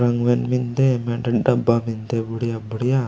रंगवेन मेन्दे मेडंन डब्बा मे न्दे बुड़ीया बुड़ीया।